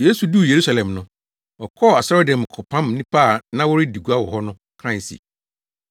Yesu duu Yerusalem no, ɔkɔɔ asɔredan mu kɔpam nnipa a na wɔredi gua wɔ hɔ no kae se,